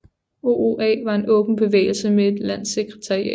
OOA var en åben bevægelse med et landssekretariat